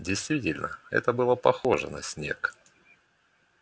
действительно это было похоже на снег